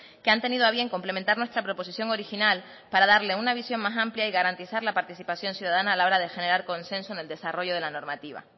que han tenido a bien complementar nuestra proposición original para darle una visión más amplia y garantizar la participación ciudadana a la hora de generar consenso en el desarrollo de la normativa